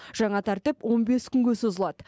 жаңа тәртіп он бес күнге созылады